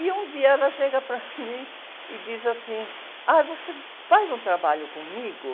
E um dia ela chega para mim e diz assim, ah, você faz um trabalho comigo?